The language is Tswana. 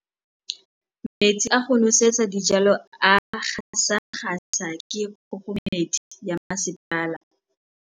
Metsi a go nosetsa dijalo a gasa gasa ke kgogomedi ya masepala.